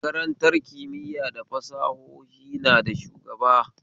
Makarantar kimiya da fasahohi na da shugaba